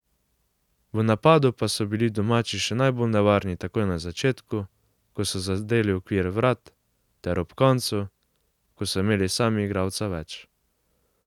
V napadu pa so bili domači še najbolj nevarni takoj na začetku, ko so zadeli okvir vrat, ter ob koncu, ko so imeli sami igralca več.